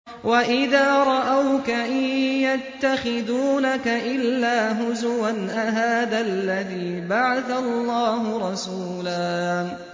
وَإِذَا رَأَوْكَ إِن يَتَّخِذُونَكَ إِلَّا هُزُوًا أَهَٰذَا الَّذِي بَعَثَ اللَّهُ رَسُولًا